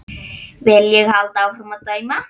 Vil ég halda áfram að dæma?